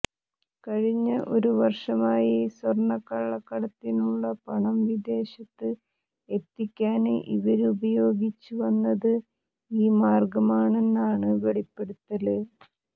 കഴിഞ്ഞ ഒരു വര്ഷമായി സ്വര്ണ കളളക്കടത്തിനുള്ള പണം വിദേശത്ത് എത്തിക്കാന് ഇവര് ഉപയോഗിച്ച് വന്നത് ഈ മാര്ഗമാണെന്നാണ് വെളിപ്പെടുത്തല്